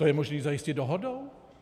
To je možné zajistit dohodou?